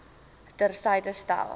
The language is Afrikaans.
ter syde stel